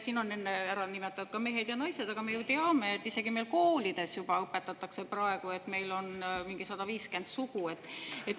Siin on enne ära nimetatud ka mehed ja naised, aga me ju teame, et isegi meil koolides juba õpetatakse praegu, et meil on mingi 150 sugu.